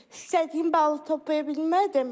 İstədiyim balı toplaya bilmədim.